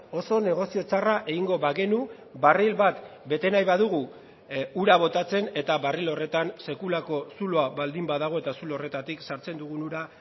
oso negozio txarra egingo bagenu barril bat bete nahi badugu ura botatzen eta barril horretan sekulako zuloa baldin badago eta zulo horretatik sartzen dugun ura